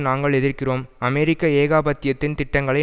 நாங்கள் எதிர்க்கிறோம் அமெரிக்க ஏகாதிபத்தியத்தின் திட்டங்களை